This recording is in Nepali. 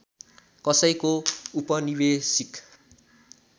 कसैको उपनिवेशिक